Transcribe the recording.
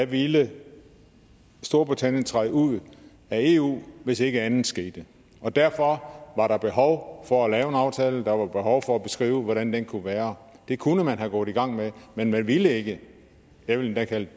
ville storbritannien træde ud af eu hvis ikke andet skete og derfor var der behov for at lave en aftale og der var behov for at beskrive hvordan den kunne være det kunne man være gået i gang med men man ville ikke jeg vil endda kalde det